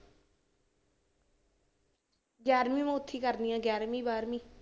ਗਿਆਰਵੀਂ ਮੈਂ ਉੱਥੇ ਕਰਨੀ ਹੈ ਗਿਆਰਵੀਂ ਬਾਰਵੀਂ।